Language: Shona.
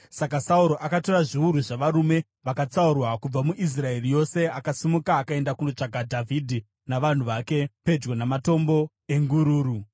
Saka Sauro akatora zviuru zvavarume vakatsaurwa kubva muIsraeri yose akasimuka akaenda kundotsvaka Dhavhidhi navanhu vake pedyo naMatombo eNgururu.